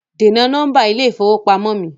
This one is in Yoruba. Dènà nọ́mbà ilé ìfowópamọ́ mi!